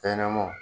Fɛn ɲɛnɛmaw